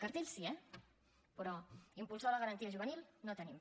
cartells sí eh però un impulsor de la garantia juvenil no el tenim